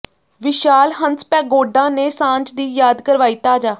ਵਿਸ਼ਾਲ ਹੰਸ ਪੈਗੋਡਾ ਨੇ ਸਾਂਝ ਦੀ ਯਾਦ ਕਰਵਾਈ ਤਾਜ਼ਾ